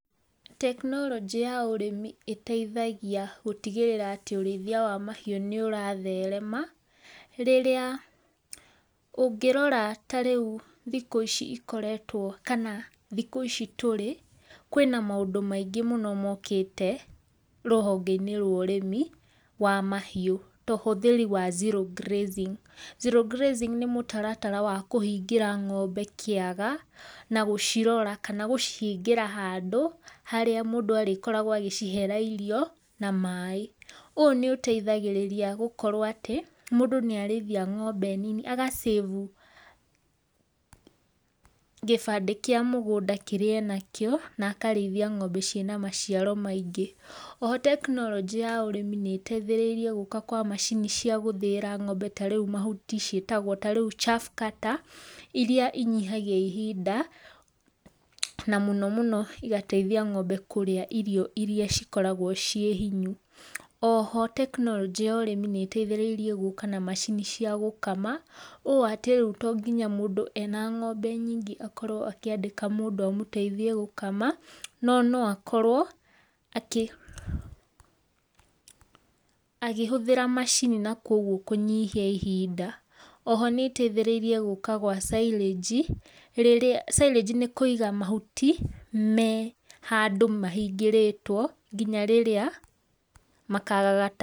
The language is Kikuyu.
Tekinoronjĩ ya ũrĩmĩ ĩteĩthagĩa gũtigĩrĩra atĩ ũrĩithĩa wa mahiu nĩuratherema, rĩrĩa ũngĩrora ta rĩũ thĩkũ icĩ ĩkoretwo kana thĩkũ ici tũrĩ kwĩna maũndũ maĩngĩ mũno mokĩte rũhonge inĩ rwa ũrĩmi wa mahiu, ta ũhũthĩri wa [zero grazing]. [Zero grazing] nĩ mũtara tara wa kũhĩngĩra ngombe kĩaga na gũcirora kana gũcihĩngĩra handũ, harĩa mũndũ agũkorwo agĩcihera irio na maĩ ũ nĩũteithagĩrĩrĩa gũkorwo atĩ, mũndũ nĩ arĩthĩa ngombe nĩnĩ aga[save] gĩbandĩ gĩa mũgũnda kĩrĩa enakĩo na akarĩithia ngombe cina macĩaro maingĩ. Oho tekinoronjĩ ya ũrĩmi nĩ ĩteithereĩre gũka kwa macĩnĩ cia gũthĩira ngombe ta rĩũ mahũtĩ cietagwo ta rĩũ [chaff cutter] iria inyihagia ihinda, na mũno mũno igateithia ngombe kũrĩa irio iria ikoragwo cie hĩnyũ. Oho tekinoronjĩ ya ũrĩmi nĩ ĩteithereĩre gũka na macini cia gũkama o ta rĩũ to ngĩnya mũndũ ena ngombe nyĩngĩ akorwo akĩandĩka mũndũ amũteithĩe gũkama, nũ nũ akorwo akĩ akĩhũthĩra macinĩ nakũo kũnyihĩa ihĩnda. Oho nĩ ĩteithereire gũka kwa [silage] rĩrĩa. [Sĩlage] nĩ kũiga mahũti me handũ mahĩngĩrĩtwio gĩnya rĩrĩa makagagata.